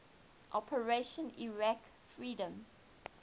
operation iraqi freedom